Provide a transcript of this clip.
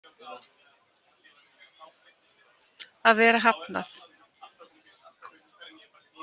Að vera hafnað.